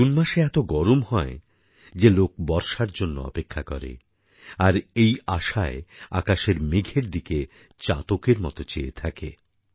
June মাসে এত গরম হয় যে লোক বর্ষার জন্য অপেক্ষা করে আর এই আশায় আকাশের মেঘের দিকে চাতকের মত চেয়ে থাকে